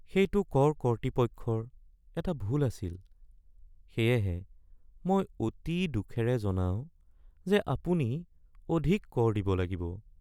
সেইটো কৰ কৰ্তৃপক্ষৰ এটা ভুল আছিল সেয়েহে মই অতি দুখেৰে জনাও যে আপুনি অধিক কৰ দিব লাগিব।